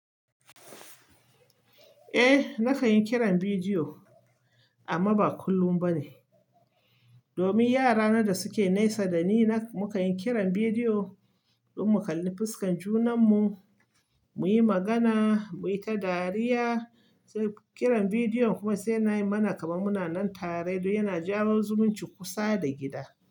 Eh, na kan yi kiran bidiyo amma ba kullum ba ne. Domin yara na da suke naisa da ni mukan yi kiran bidiyo don mu kalli fuskan junanmu, mu yi magana, mu yi ta dariya. Sai kiran bidiyon kuma sai na yi mana kamannuna nan tare don yana jawo zumuncin kusa da gida.